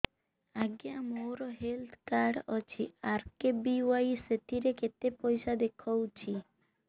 ଆଜ୍ଞା ମୋର health card ଅଛି ଆର୍.କେ.ବି.ୱାଇ ସେଥିରେ କେତେ ପଇସା ଦେଖଉଛି